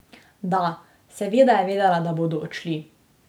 Da, seveda je vedela, da bodo odšli.